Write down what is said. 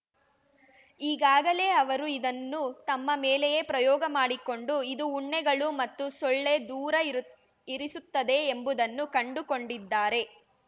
ಈಗಾಗಲೇ ಅವರು ಇದನ್ನು ತಮ್ಮ ಮೇಲೆಯೇ ಪ್ರಯೋಗ ಮಾಡಿಕೊಂಡು ಇದು ಉಣ್ಣೆಗಳು ಮತ್ತು ಸೊಳ್ಳೆ ದೂರ ಇರು ಇರಿಸುತ್ತದೆ ಎಂಬುದನ್ನು ಕಂಡುಕೊಂಡಿದ್ದಾರೆ